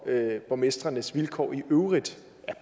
af borgmestrenes vilkår i øvrigt